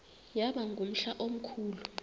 yaba ngumhla omkhulu